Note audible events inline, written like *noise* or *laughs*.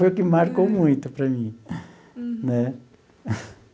Foi o que marcou muito para mim. Uhum. Né? *laughs*